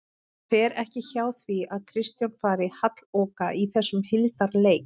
Það fer ekki hjá því að Kristján fari halloka í þessum hildarleik